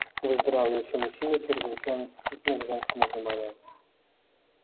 выздоравливающие мужчины чрезвычайно чувствительны к женскому вниманию